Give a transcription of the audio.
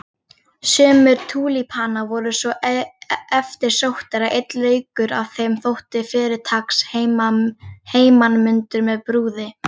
Sumir túlípanar voru svo eftirsóttir að einn laukur af þeim þótti fyrirtaks heimanmundur með brúði.